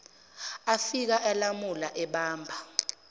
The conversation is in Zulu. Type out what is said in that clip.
afika alamula ebamba